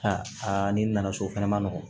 ni nana so o fɛnɛ ma nɔgɔn